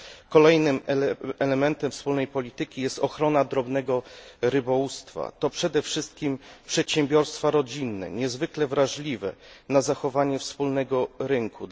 Kolejnym elementem wspólnej polityki jest ochrona drobnego rybołówstwa to przede wszystkim przedsiębiorstwa rodzinne, niezwykle wrażliwe na zachowanie wspólnego rynku.